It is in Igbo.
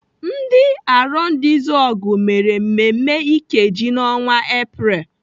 Ndị Arondizuogu mere mmemme Ikeji n'ọnwa Epreel.